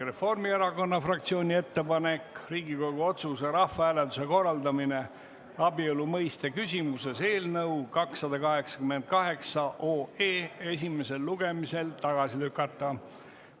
Reformierakonna fraktsiooni ettepanek on Riigikogu otsuse "Rahvahääletuse korraldamine abielu mõiste küsimuses" eelnõu 288 esimesel lugemisel tagasi lükata.